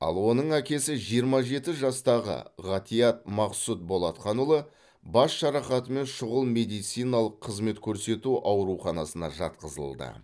ал оның әкесі жиырма жеті жастағы ғатиат мақсұт болатқанұлы бас жарақатымен шұғыл медициналық қызмет көрсету ауруханасына жатқызылды